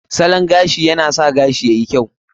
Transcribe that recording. Salon gashi na sa gashi yayi kyau.